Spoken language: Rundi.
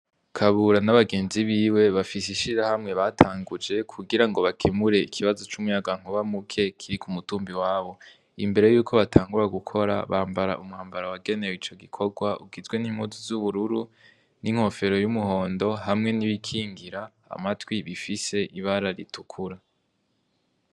Kabura n'abagenzi biwe bafise ishirahamwe batanguje kugira ngo bakimure ikibazo c'umuyangankuba muke kiri ku mutumbi wabo, imbere yuko batangura gukora bambara umwambaro wagenewe ico gikorwa ugizwe n'impuzi z'ubururu n'inkofero y'umuhondo hamwe n'ibikingira amatwi bifise ibara ritukura.